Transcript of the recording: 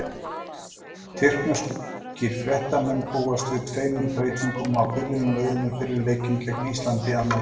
Tyrkneskir fréttamenn búast við tveimur breytingum á byrjunarliðinu fyrir leikinn gegn Íslandi, annað kvöld.